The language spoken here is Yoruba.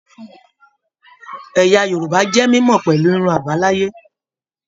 Ẹyà Yorùbá jẹ mímọ pẹlú irun abalaye.